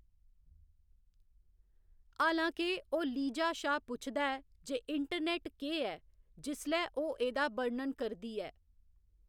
हालां के ओह्‌‌ लीजा शा पुछदा ऐ जे इंटरनेट केह्‌‌ ऐ जिसलै ओह्‌‌ एह्‌‌‌दा बर्णन करदी ऐ।